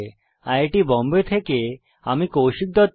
IIT Bombay থেকে আমি কৌশিক দত্ত